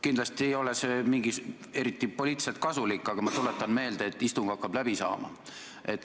Kindlasti ei ole see eriti poliitiliselt kasulik, aga ma tuletan meelde, et istung hakkab läbi saama.